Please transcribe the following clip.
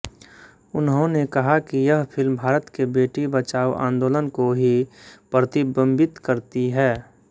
उन्होंने कहा कि यह फिल्म भारत के बेटी बचाओ आन्दोलन को ही प्रतिबिंबित करती है